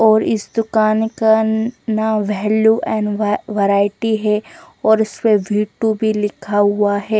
और इस दूकान का नाम वेलु एंड वेरायटी है और इस्पे वि टू वि लिखा हुआ है।